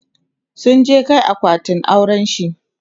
sun je Kai akwatin aurenshi